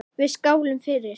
Við skálum fyrir